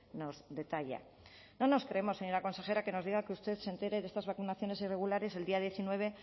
nos detalla no nos creemos señora consejera que nos diga que usted se entere de estas vacunaciones irregulares el día diecinueve